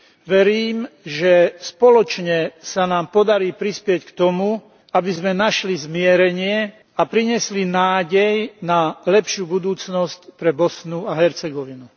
Verím, že spoločne sa nám podarí prispieť k tomu, aby sme našli zmierenie a priniesli nádej na lepšiu budúcnosť pre Bosnu a Hercegovinu.